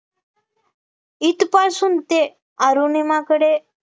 इथ पासून ते अरुणिमाकडे